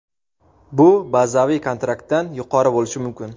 Bu – bazaviy kontraktdan yuqori bo‘lishi mumkin.